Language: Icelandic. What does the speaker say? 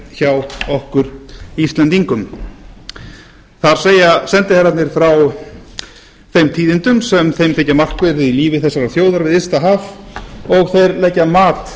hjá okkur íslendingum það er sendiherrarnir frá þeim tíðindum sem þeim þykja markverð í lífi þessarar þjóðar við ysta haf og þeir leggja mat